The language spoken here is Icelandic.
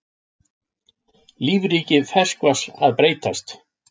Lífríki ferskvatns að breytast